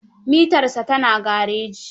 Mitarsa ta na gareji.